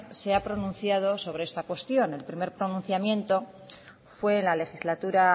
se ha pronunciado sobre esta ocasión el primer pronunciamiento fue en la legislatura